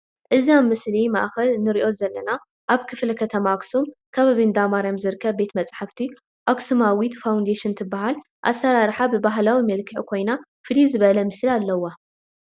እዚ ኣብ ምስሊ ማእከል ንሪኦ ዘልና ኣብ ክተማ ኣክሱም ክባቢ ኣንዳ ማርያም ዝርከብ ቤት መፃሕፍቲ ኣኽሱማዊት ፋዉንዴሽን ትበሃል ኣስራርሓ ብባህላዊ መልክዕ ኮይና ፍልይ ዝበለ ምስሊ ኣልዋ ።